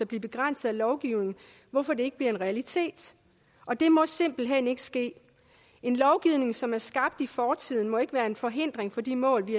bliver begrænset af lovgivningen hvorfor det ikke bliver en realitet og det må simpelt hen ikke ske en lovgivning som er skabt i fortiden må ikke være en forhindring for de mål vi